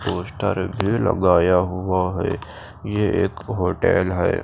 Poster भी लगाया हुआ है ये एक होटल है।